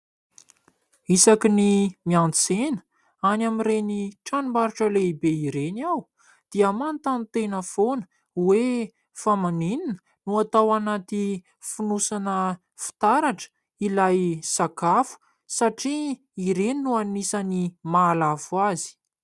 Isaka ny miantsena any amin'ireny tranombarotra lehibe ireny aho dia manontany tena foana hoe fa maninona no atao anaty fonosana fitaratra ilay sakafo satria ireny no anisan'ny mahalafo azy.